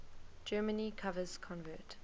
germany covers convert